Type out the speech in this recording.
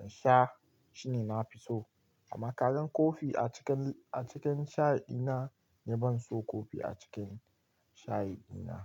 in sha shine na fi so. Amma kalan kofi a cikin, a cikin shayi dina ni ban so kofi a cikin shayi dina.